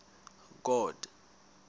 god